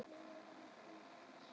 Ekkert næði til að horfa á sjónvarpið.